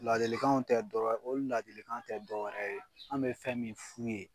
Ladilikanw tɛ dɔ wɛ o ladilikanw tɛ dɔ wɛrɛ ye, an' bɛ fɛn min f'u ye